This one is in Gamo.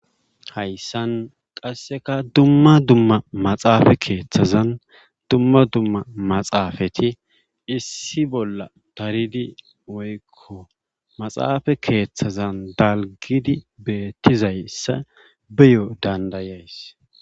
Hayssan qasseka dumma dumma maxaafe keethazan dumma dumma maxaafeti issi bolla daridi woykko maxaafe keethazan dalggidi beettizayssa beyo danddayays.